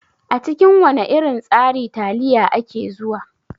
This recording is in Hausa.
A cikin wana irin tsari taliya ake zuwa.